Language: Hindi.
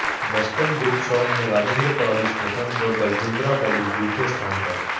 वेस्टर्न ग्रुप सौंग में राजिन्द्रा कालेज प्रथम व बरजिंदरा कालेज दूसरे स्थान पर